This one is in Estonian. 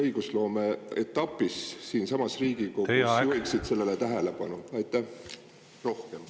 … õigusloomeetapis siinsamas Riigikogu juhiksid sellele enam tähelepanu?